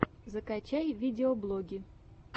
закачай видеоблоги